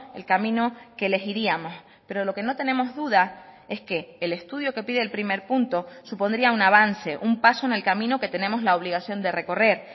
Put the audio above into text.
el camino que elegiríamos pero lo que no tenemos duda es que el estudio que pide el primer punto supondría un avance un paso en el camino que tenemos la obligación de recorrer